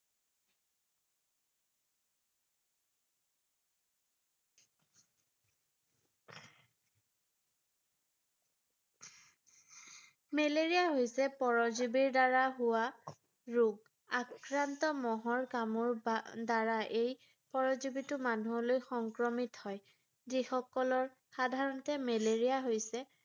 malaria হৈছে পৰজীৱীৰ দ্বাৰা হোৱা ৰোগ ৷ আক্ৰান্ত মহৰ কামোৰৰ দ্বাৰা এই পৰজীৱীটো মানুহলৈ সংক্ৰমিত হয় ৷ যিসকলৰ সাধাৰণতে মেলেৰিয়া হৈছে